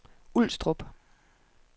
Ulstrup